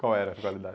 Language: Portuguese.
Qual era a qualidade?